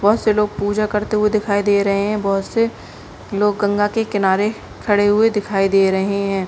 बहुत से लोग पूजा करते हुए दिखाई दे रहे हैं बहुत से लोग गंगा के किनारे खड़े हुए दिखाई दे रहे है।